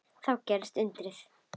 Þá gerðist undrið.